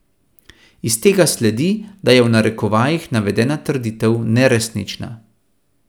Iz tega sledi, da je v narekovajih navedena trditev neresnična.